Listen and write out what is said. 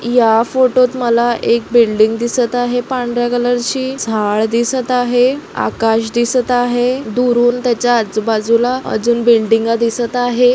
या फोटोत मला एक बिल्डिंग दिसत आहे पांढर्‍या कलर ची झाड दिसत आहे आकाश दिसत आहे दुरून त्याच्या आजुबाजूला अजुन बिल्डिंगा दिसत आहे.